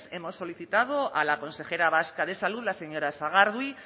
hemos solicitado a la consejera vasca de salud la señora sagardui